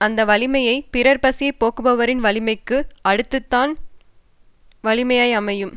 அந்த வலிமையும் பிறர் பசியை போக்குபவரின் வலிமைக்கு அடுத்துத்தான் வலிமையாய் அமையும்